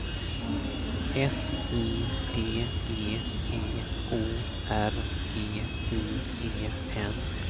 S Y D G E O R G I E N